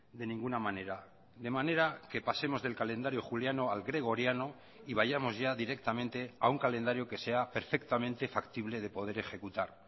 de ninguna manera de manera que pasemos del calendario juliano al gregoriano y vayamos ya directamente a un calendario que sea perfectamente factible de poder ejecutar